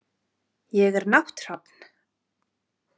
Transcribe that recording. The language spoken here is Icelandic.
Ég er nátthrafn.